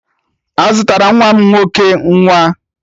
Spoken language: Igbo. A zụtara nwa m nwoke iko nwa